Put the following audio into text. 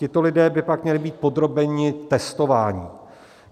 Tito lidé by pak měli být podrobeni testování.